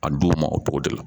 A d'u ma o togo de la